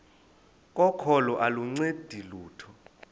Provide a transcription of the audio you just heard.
kokholo aluncedi lutho